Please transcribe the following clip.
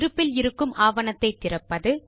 இருப்பில் இருக்கும் ஆவணத்தை திறப்பது